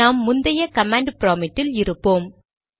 நாம் முந்தைய command prompt இல் இருப்போம்